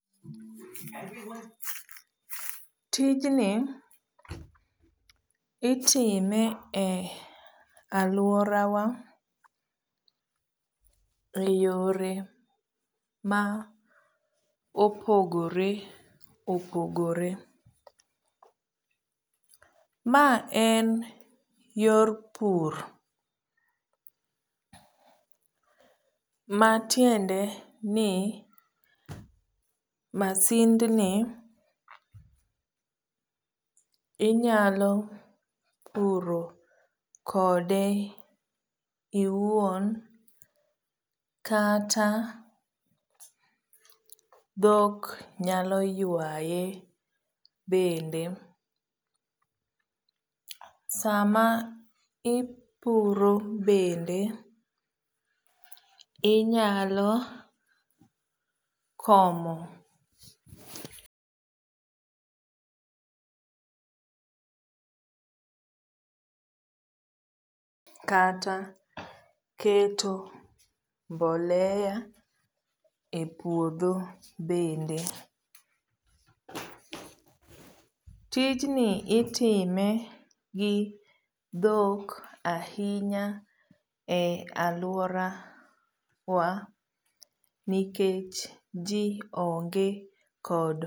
Tijni itime e alworawa e yore maopogore opogore. maen yor pur matiende ni masind ni inyalo puro kode iwuon kata dhok nyalo ywaye bende sama ipuro bende inyalo komo kata keto mbolea e puodho bende. tijni itime gi dhok ahinya e alworawa nikech jii onge kod